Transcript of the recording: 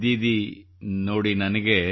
ದೀದಿ ನೋಡಿ ನನಗೆ